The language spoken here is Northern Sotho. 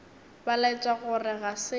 ba laetša gore ga se